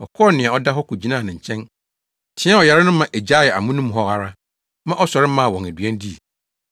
Ɔkɔɔ nea ɔda hɔ kogyinaa ne nkyɛn, teɛɛ ɔyare no ma egyaee amono mu hɔ ara ma ɔsɔre maa wɔn aduan dii.